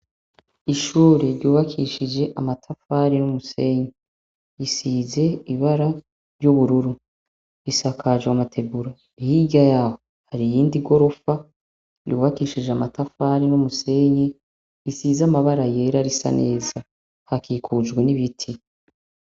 Ishure ryubakishije amatafari numusenyi risize ibara ryubururu risakajwe amategura hiryayaho hari iyindi gorofa ryubakishije amatafari numusenyi risize amabara yera risa neza hakikujwe nibiti